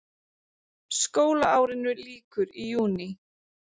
Skólaárinu lýkur í júní.